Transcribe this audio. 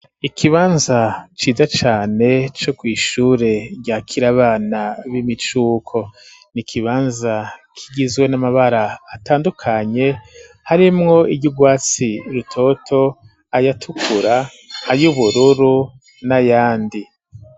Ikibanza ciza cane, co kw' ishure rya kir'abana b'imicuko, ni ikibanza kigizwe n'amabara atandukanye, harimwo iryugwatsi rutoto ,ayatukura, ay'ubururu n'ayandi.